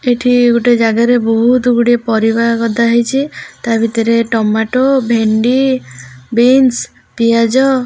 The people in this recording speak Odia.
ଏଇଠି ଗୋଟେ ଜାଗାରେ ବହୁତ୍ ଗୁଡିଏ ପରିବା ଗଦା ହେଇଚି ତା ଭିତରେ ଟମାଟୋ ଭେଣ୍ଡି ବିମ୍ସ୍ ପିଆଜ --